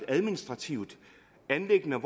at administrativt anliggende